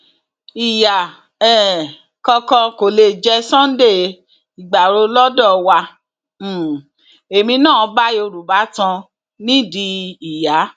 ìyá um kankan kò lè jẹ sunday igbárò lọdọ wa um èmi náà bá yorùbá tan nídìí ìyá